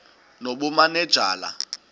nobumanejala